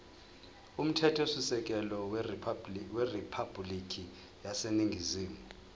umthethosisekelo weriphabhulikhi yaseningizimu